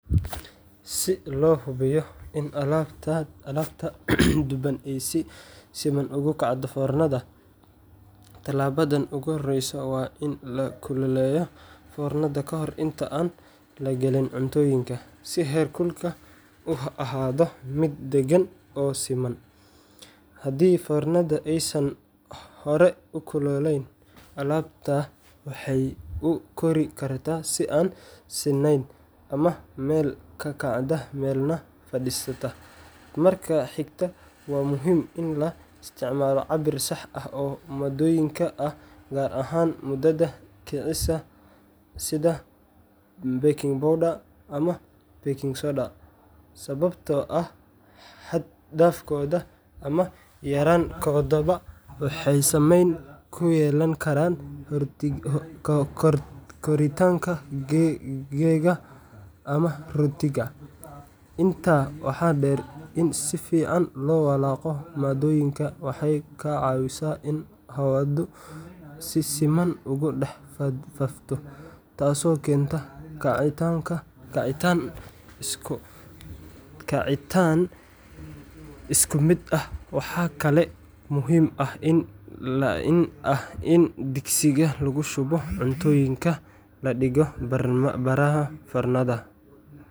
Si loo hubiyo in alaabta duban ay si siman ugu kacdo foornada, tallaabada ugu horreysa waa in la kululeeyo foornada ka hor inta aan la gelin cuntooyinka, si heerkulku u ahaado mid deggan oo siman. Haddii foornada aysan hore u kululayn, alaabta waxay u kori kartaa si aan sinnayn ama meel ka kacda meelna fadhiisata. Marka xigta, waa muhiim in la isticmaalo cabbir sax ah oo maaddooyinka ah, gaar ahaan budada kicisa sida baking powder ama baking soda, sababtoo ah xad-dhaafkooda ama yaraan koodaba waxay saameyn ku yeelan karaan koritaanka keega ama rootiga. Intaa waxaa dheer, in si fiican loo walaaqo maaddooyinka waxay ka caawisaa in hawadu si siman ugu dhex faafto, taasoo keenta kacitaan isku mid ah. Waxaa kale oo muhiim ah in digsiga lagu shubo cuntooyinka la dhigto bartamaha foornada.